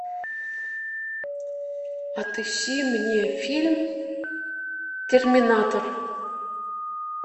отыщи мне фильм терминатор